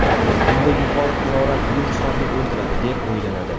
Bunda yuqori harorat viruslarni o‘ldiradi deb o‘ylanadi.